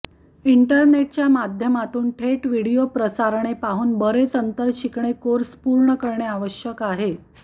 इंटरनेटच्या माध्यमातून थेट व्हिडिओ प्रसारणे पाहून बरेच अंतर शिकणे कोर्स पूर्ण करणे आवश्यक आहे